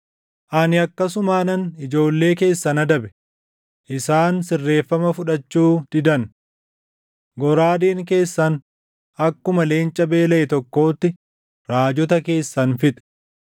“Ani akkasumaanan ijoollee keessan adabe; isaan sirreeffama fudhachuu didan. Goraadeen keessan akkuma leenca beelaʼe tokkootti raajota keessan fixxe.